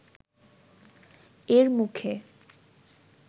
এর মুখে